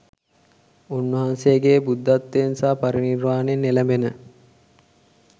උන් වහන්සේගේ බුද්ධත්වයෙන් සහ පරිනිර්වාණයෙන් එළැඹෙන